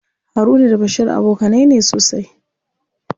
Haruna da Bashir abokanai ne sosai.